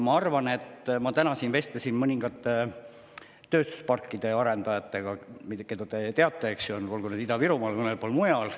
Ma täna siin vestlesin mõningate tööstusparkide arendajatega, keda te teate, olgu nad Ida-Virumaal või mõnel pool mujal.